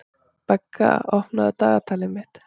Begga, opnaðu dagatalið mitt.